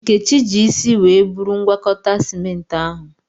Nkechi ji isi were buru ngwakọta simenti ahụ.